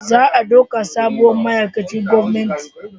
Za a dauka sabuwar ma'aikacin gwamnati